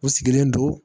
U sigilen don